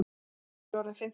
Gulli orðinn fimmtugur.